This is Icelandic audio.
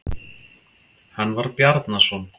Hann var Bjarnason.